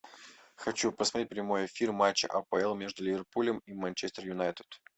хочу посмотреть прямой эфир матча апл между ливерпулем и манчестер юнайтед